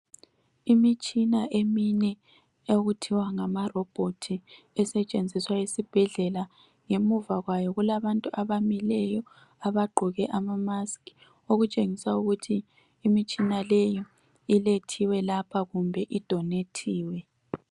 Imitshina emine ethiwa ngamarobhothi esetshenziswa esibhedlela. Ngemuva kwayo kulabantu abamileyo abagqoke izayeke kutshengisa ukuthi imitshina leyo ilethiwe lapha kumbe idonethiwe.